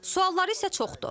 Sualları isə çoxdur.